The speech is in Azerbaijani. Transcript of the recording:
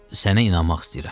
Sənə inanmaq istəyirəm.